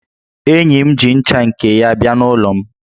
Enyi ya ji ncha nke ya bịa n'ụlọ m